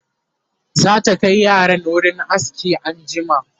zata Kai yaran wurin aski anjima